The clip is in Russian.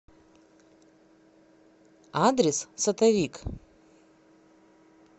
адрес сотовик